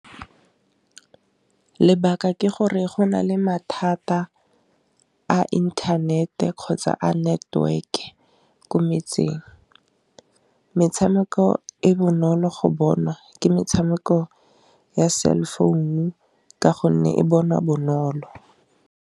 Lebaka ke gore go na le mathata a intanete kgotsa a network-e ko metseng, metshameko e bonolo go bonwa ke metshameko ya cell phone ka gonne e bonwa bonolo.